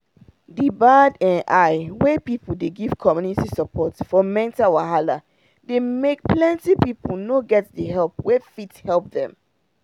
the bad eye wey people dey give community support for mental wahala dey make plenty people no get the help wey fit help dem